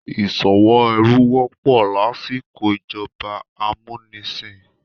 Ìsòwò ẹrú wọ́pọ̀ lásìkò ìjọba amúnisìn